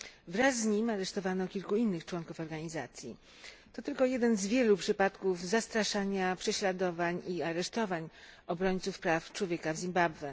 Wraz z nim aresztowano kilku innych członków organizacji. To tylko jeden z wielu przypadków zastraszania, prześladowań i aresztowań obrońców praw człowieka w Zimbabwe.